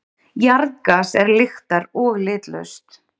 Jarðgas er lyktar- og litlaust.